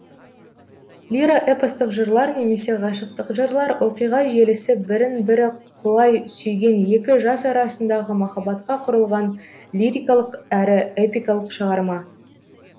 лиро эпостық жырлар немесе ғашықтық жырлар оқиға желісі бірін бірі құлай сүйген екі жас арасындағы махаббатқа құрылған лирикалық әрі эпикалық шығарма